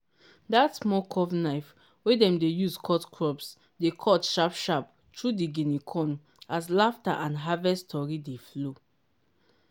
dat small curved knife wey dem dey use cut crops dey cut sharp-sharp through di guinea corn as laughter and harvest tory dey flow.